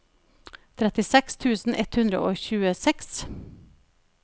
trettiseks tusen ett hundre og tjueseks